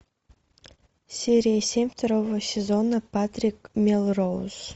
серия семь второго сезона патрик мелроуз